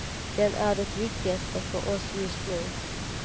Den är det viktigaste för oss just nu.